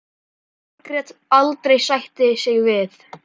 Margrét aldrei sætta sig við.